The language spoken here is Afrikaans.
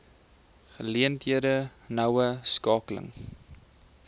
geleenthede noue skakeling